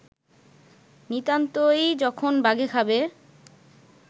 নিতান্তই যখন বাঘে খাবে